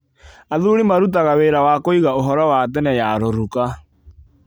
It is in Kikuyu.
Athuri maratuga wĩra wa kũiga úhoro wa tene ya rũruka.